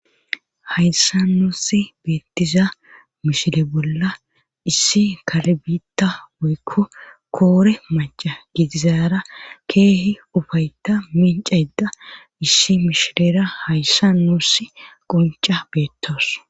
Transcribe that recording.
hayssa nusi beettiza mishile bolla issi kalbita woykko koore maca gidizaara keehi ufayta mincayda issi mishilera hayssa nuuss qunca beettos